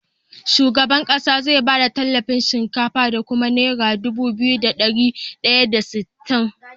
Shugaban ƙasa zai bada tallafin shinkafa da kuma naira Dubu biyu da dari daya da sittin